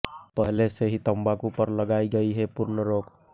पहले से ही तंबाकू पर लगायी गयी है पूर्ण रोक